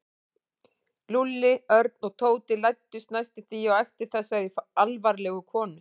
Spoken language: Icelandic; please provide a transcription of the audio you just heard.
Lúlli, Örn og Tóti læddust næstum því á eftir þessari alvarlegu konu.